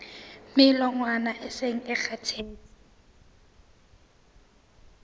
melongwana e seng e kgathetse